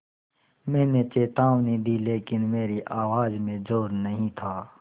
मैंने चेतावनी दी लेकिन मेरी आवाज़ में ज़ोर नहीं था